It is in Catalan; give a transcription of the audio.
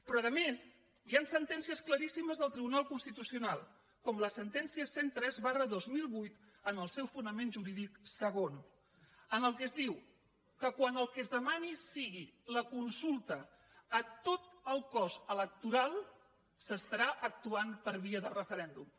però a més hi ha sentències claríssimes del tribunal constitucional com la sentència cent i tres dos mil vuit en el seu fonament jurídic segon en què es diu que quan el que es demani sigui la consulta a tot el cos electoral s’estarà actuant per via de referèndum